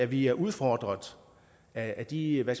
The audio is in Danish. vi er udfordret af de hvad